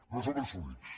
no som els únics